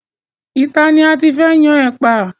Ìta ni a ti fẹ́ yan ẹ̀pà.